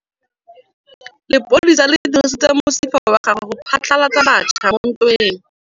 Lepodisa le dirisitse mosifa wa gagwe go phatlalatsa batšha mo ntweng.